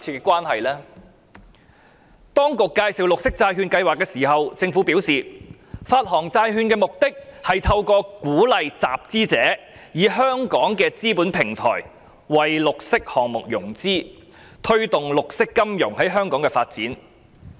政府在介紹綠色債券計劃時，表示發行債券的目的是透過鼓勵集資者以香港的資本平台，為綠色項目融資，推動綠色金融在香港發展。